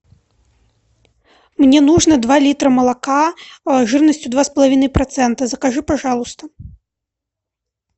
мне нужно два литра молока жирностью два с половиной процента закажи пожалуйста